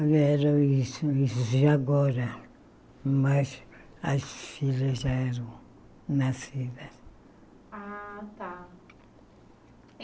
Era isso de agora, mas as filhas já eram nascidas. Ah tá